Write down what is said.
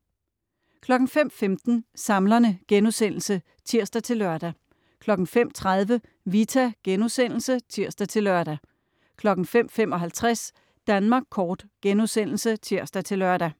05.15 Samlerne* (tirs-lør) 05.30 Vita* (tirs-lør) 05.55 Danmark kort* (tirs-lør)